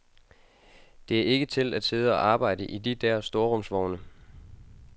Det er ikke til at sidde og arbejde i de der storrumsvogne.